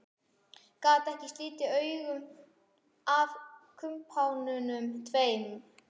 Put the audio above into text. Gat ekki slitið augun af kumpánunum tveim.